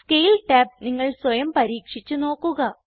scale tab നിങ്ങൾ സ്വയം പരീക്ഷിച്ച് നോക്കുക